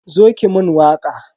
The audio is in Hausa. Zo ki mun waka.